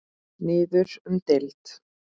Niður um deild